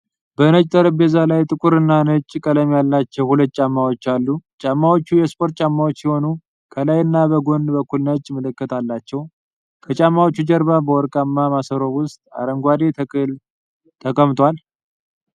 በነጭ ጠረጴዛ ላይ ጥቁር እና ነጭ ቀለም ያላቸው ሁለት ጫማዎች አሉ። ጫማዎቹ የስፖርት ጫማዎች ሲሆኑ፣ ከላይ እና በጎን በኩል ነጭ ምልክት አላቸው። ከጫማዎቹ ጀርባ በወርቃማ ማሰሮ ውስጥ አረንጓዴ ተክል ተቀምጧል።